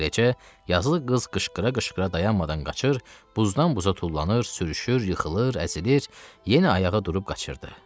Beləcə yazılı qız qışqıra-qışqıra dayanmadan qaçır, buzdan buza tullanır, sürüşür, yıxılır, əzilir, yenə ayağa durub qaçırdı.